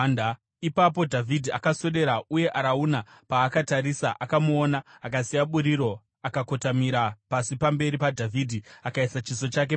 Ipapo Dhavhidhi akaswedera, uye Arauna paakatarisa akamuona, akasiya buriro akakotamira pasi pamberi paDhavhidhi akaisa chiso chake pasi.